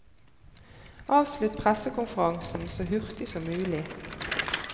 Avslutt pressekonferansen så hurtig som mulig.